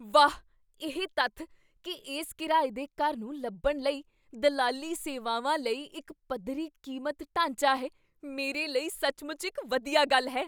ਵਾਹ, ਇਹ ਤੱਥ ਕੀ ਇਸ ਕਿਰਾਏ ਦੇ ਘਰ ਨੂੰ ਲੱਭਣ ਲਈ ਦਲਾਲੀ ਸੇਵਾਵਾਂ ਲਈ ਇੱਕ ਪੱਧਰੀ ਕੀਮਤ ਢਾਂਚਾ ਹੈ, ਮੇਰੇ ਲਈ ਸੱਚਮੁੱਚ ਇੱਕ ਵਧੀਆ ਗੱਲ ਹੈ।